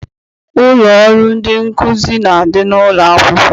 Ụlọ ọrụ ndị nkụzi na-adị n'ụlọakwụkwọ.